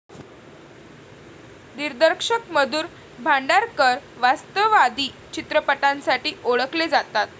दिग्दर्शक मधुर भांडारकर वास्तववादी चित्रपटांसाठी ओळखले जातात.